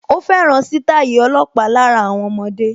Ó fẹ́ràn sítáì ọlọ́pàá lára àwọn ọmọdé